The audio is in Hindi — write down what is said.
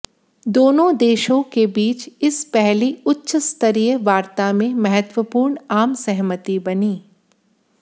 दोनों देशों के बीच इस पहली उच्च स्तरीय वार्ता में महत्वपूर्ण आम सहमति बनी